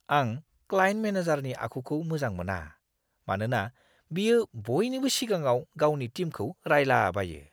आं क्लाइन्ट मेनेजारनि आखुखौ मोजां मोना, मानोना बियो बयनिबो सिगाङाव गावनि टिमखौ रायलाबायो!